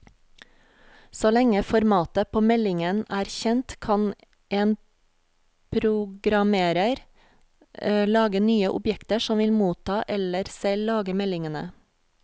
Så lenge formatet på meldingen er kjent, kan en programmerer lage nye objekter som vil motta eller selv lage meldingene.